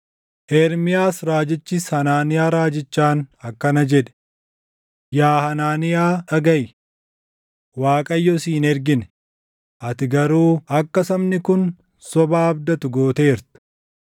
Ermiyaas raajichis Hanaaniyaa raajichaan akkana jedhe: “Yaa Hanaaniyaa dhagaʼi! Waaqayyo si hin ergine; ati garuu akka sabni kun sobaa abdatu gooteerta.